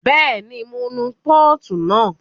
Bẹ́ẹ̀ni, mo nu pọ́ọ̀tù náà